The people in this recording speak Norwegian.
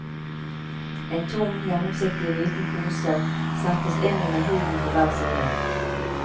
En tom, gjennomsiktig liten pose settes inn under huden på hver side.